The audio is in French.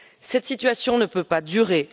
Cette situation ne peut pas durer.